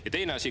Ja teine asi.